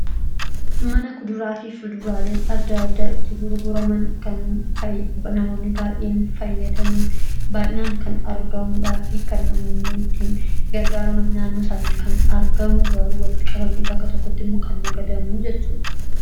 mana kuduraa fi fuduraalen adda addaa itti gurguraman kan namoonni baayeen fayyadaman baay'inaan kan argamudhaa fi kanin gargaaraman naannoo isaanitti kan argamu garuu walitti qabame bakka tokkotti immoo kan nagadamu jechuudha